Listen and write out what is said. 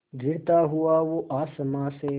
गिरता हुआ वो आसमां से